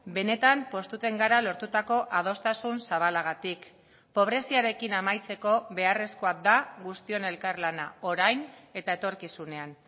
benetan pozten gara lortutako adostasun zabalagatik pobreziarekin amaitzeko beharrezkoa da guztion elkarlana orain eta etorkizunean